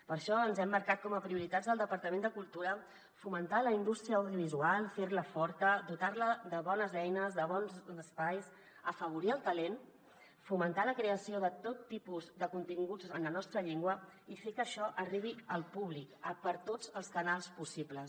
per això ens hem marcat com a prioritats del departament de cultura fomentar la indústria audiovisual fer·la forta dotar·la de bones eines de bons espais afavorir el talent fomentar la creació de tot tipus de continguts en la nostra llengua i fer que això arribi al públic per tots els canals pos·sibles